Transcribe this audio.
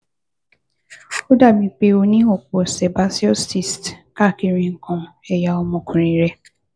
Ó dàbíi pé o ní ọ̀pọ̀ Sebaceous Cysts káàkiri nǹkan ẹ̀yà ọmọkùnrin rẹ